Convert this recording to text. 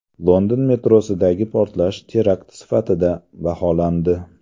London metrosidagi portlash terakt sifatida baholandi.